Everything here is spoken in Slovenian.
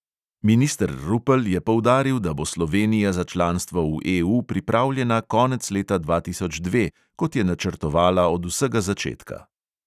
Minister rupel je poudaril, da bo slovenija za članstvo v EU pripravljena konec leta dva tisoč dva, kot je načrtovala od vsega začetka.